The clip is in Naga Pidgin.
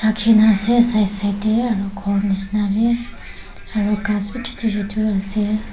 rakhi kina ase side side te aru khor nisna bhi gass bhi chotu chotu ase.